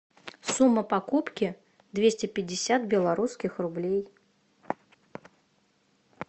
сумма покупки двести пятьдесят белорусских рублей